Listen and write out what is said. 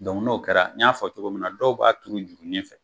n'o kɛra n y'a fɔ cogo min na, dɔw b'a turu jurunin fɛ.